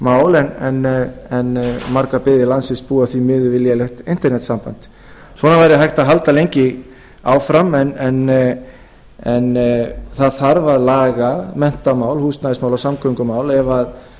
fjarskiptamál en margar byggðir landsins búa því miður við lélegt einkanetssamband svona væri hægt að halda lengi áfram en það þarf að laga menntamál húsnæðismál og samgöngumál ef